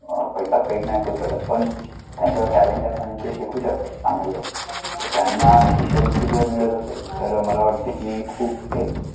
पैसा Paid नाही करू शकत पण त्यांच्या talent आणि ते शिकू शकतात त्यामुळे त्यांना शिष्यवृत्ती जर मिळेल असेल त्यामुळे मला वाटते की खुप एक.